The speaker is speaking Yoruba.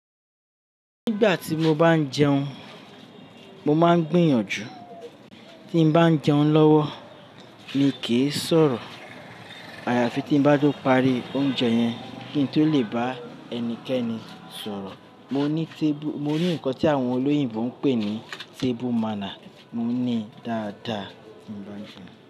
Nígbà tí mo bá ń jẹun, mo máa ń gbìyànjú tí bá ń jẹun lọ́wọ́ mi kì í sọ̀rọ̀. Àyàfi tí ń bá tó parí oúnjẹ yẹn kí n tó lè bá ẹnikẹ́ni sọ̀rọ̀. Mo ní tébù, mo ní nǹkan tí àwọn olóyìnbo ń pè ní table manner, mo ní dáadáa nígbà tí mo bá ń jẹun.